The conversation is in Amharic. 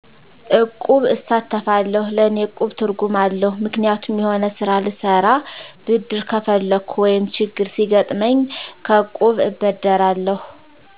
እቁብ እሳተፋለሁ ለእኔ እቁብ ትርጉም አለዉ ምክንያቱም የሆነ ስራ ልሰራ ብድር ከፈለኩ ወይም ችግር ሲገጥመኝ ከእቁብ እበደራለሁ